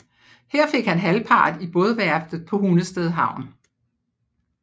Her fik han halvpart i bådeværftet på Hundested Havn